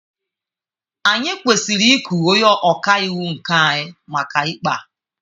Anyị kwesịrị iku onye ọka iwu nke anyị maka ikpe a.